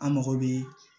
An mago bɛ